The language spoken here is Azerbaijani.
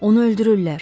Onu öldürürlər.